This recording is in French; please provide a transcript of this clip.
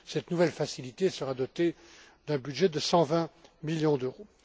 Cette nouvelle facilité sera dotée d'un budget de 120 millions d'euros.